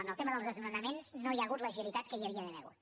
en el tema dels desnonaments no hi ha hagut l’agilitat que hi havia d’haver hagut